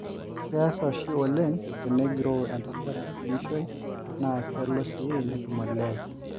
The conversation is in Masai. keesa oshi oleng tenegiroo entasat kiishoi naa kelo sii netum olee